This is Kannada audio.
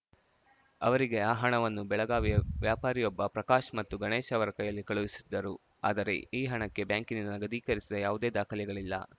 ಅವರಿಗೆ ಆ ಹಣವನ್ನು ಬೆಳಗಾವಿಯ ವ್ಯಾಪಾರಿಯೊಬ್ಬ ಪ್ರಕಾಶ್‌ ಮತ್ತು ಗಣೇಶ್‌ ಅವರ ಕೈಯಲ್ಲಿ ಕಳುಹಿಸಿದ್ದರು ಆದರೆ ಈ ಹಣಕ್ಕೆ ಬ್ಯಾಂಕಿನಿಂದ ನಗದೀಕರಿಸಿದ ಯಾವುದೇ ದಾಖಲೆಗಳಿಲ್ಲ